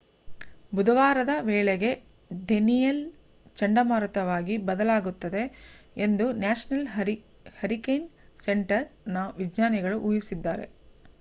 ಬುಧವಾರದ ವೇಳೆಗೆ ಡೇನಿಯೆಲ್‌ ಚಂಡಮಾರುತವಾಗಿ ಬಲವಾಗುತ್ತದೆ ಎಂದು ನ್ಯಾಷನಲ್ ಹರಿಕೇನ್ ಸೆಂಟರ್‌ನ ವಿಜ್ಞಾನಿಗಳು ಊಹಿಸಿದ್ದಾರೆ